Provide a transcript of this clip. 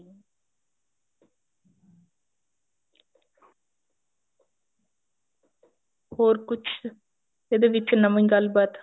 ਹੋਰ ਕੁੱਛ ਇਹਦੇ ਵਿੱਚ ਨਵੀਂ ਗੱਲਬਾਤ